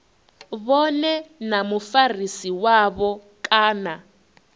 vhone na mufarisi wavho kana